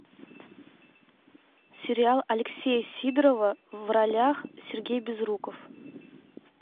сериал алексея сидорова в ролях сергей безруков